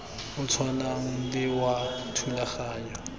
o tshwanang le wa thulaganyo